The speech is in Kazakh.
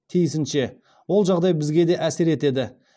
тиісінше ол жағдай бізге де әсер етеді